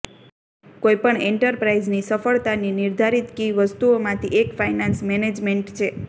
કોઇ પણ એન્ટરપ્રાઇઝની સફળતાની નિર્ધારિત કી વસ્તુઓમાંથી એક ફાયનાન્સ મેનેજમેન્ટ છે